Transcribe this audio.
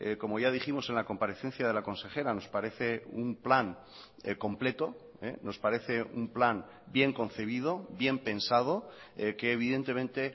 como ya dijimos en la comparecencia de la consejera nos parece un plan completo nos parece un plan bien concebido bien pensado que evidentemente